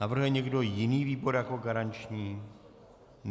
Navrhuje někdo jiný výbor jako garanční?